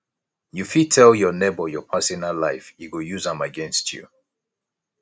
you fit tell your nebor your personal life e go use am against you